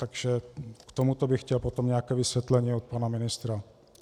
Takže k tomuto bych chtěl potom nějaké vysvětlení od pana ministra.